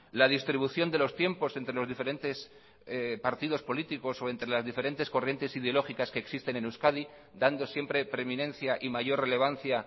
la distribución de los tiempos entre los diferentes partidos políticos o entre las diferentes corrientes ideológicas que existen en euskadi dando siempre preeminencia y mayor relevancia